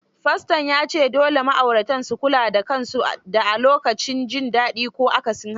Faston ya ce dole ma'auratan su kula da kansu da a lokacin jin dadi ko akasin haka.